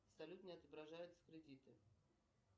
салют не отображаются кредиты